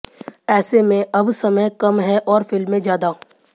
ऐसे में अब समय कम है और फिल्में ज्यादा